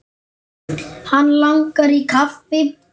Hann langar í kaffi.